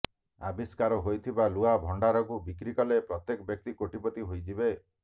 ଆବିଷ୍କାର ହୋଇଥିବା ଲୁହା ଭଣ୍ଡାରକୁ ବିକ୍ରି କଲେ ପ୍ରତ୍ୟେକ ବ୍ୟକ୍ତି କୋଟିପତି ହୋଇଯିବେ